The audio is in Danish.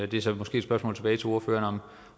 det er så måske et spørgsmål tilbage til ordføreren